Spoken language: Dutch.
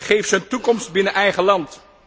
Geef ze een toekomst binnen eigen land.